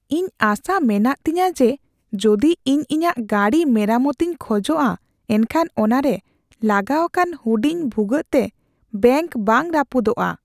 ᱤᱧ ᱟᱥᱟ ᱢᱮᱱᱟᱜ ᱛᱤᱧᱟᱹ ᱡᱮ, ᱡᱩᱫᱤ ᱤᱧ ᱤᱧᱟᱹᱜ ᱜᱟᱹᱰᱤ ᱢᱮᱨᱟᱢᱚᱛ ᱤᱧ ᱠᱷᱚᱡᱚᱜᱼᱟ ᱮᱱᱠᱷᱟᱱ ᱚᱱᱟᱨᱮ ᱞᱟᱜᱟᱣ ᱟᱠᱟᱱ ᱦᱩᱰᱤᱧ ᱵᱷᱩᱜᱟᱹᱜ ᱛᱮ ᱵᱮᱝᱠ ᱵᱟᱝ ᱨᱟᱹᱯᱩᱫᱚᱜᱼᱟ ᱾